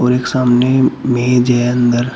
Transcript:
एक सामने मेज है अंदर--